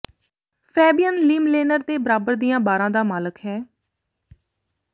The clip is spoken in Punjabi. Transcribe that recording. ਫੈਬੀਅਨ ਲੀਮਲੇਨਰ ਨੇ ਬਰਾਬਰ ਦੀਆਂ ਬਾਰਾਂ ਦਾ ਮਾਲਕ ਹੈ